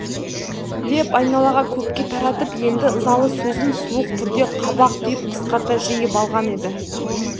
деп айналаға көпке таратып енді ызалы сөзін суық түрде қабақ түйіп қысқарта жиып алған еді